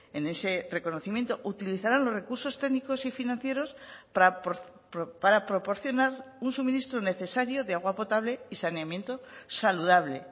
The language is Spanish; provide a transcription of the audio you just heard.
en ese reconocimiento utilizarán los recursos técnicos y financieros para proporcionar un suministro necesario de agua potable y saneamiento saludable